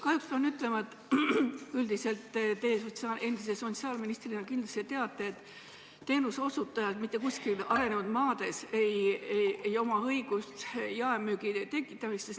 Kahjuks pean ütlema, et üldiselt te endise sotsiaalministrina kindlasti teate, et teenuseosutajatel pole mitte kuskil arenenud maades õigust jaemüügiks.